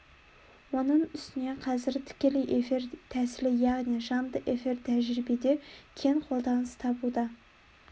оның үстіне қазір тікелей эфир тәсілі яғни жанды эфир тәжірибеде кең қолданыс табуда